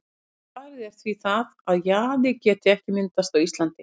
Svarið er því það, að jaði geti ekki myndast á Íslandi.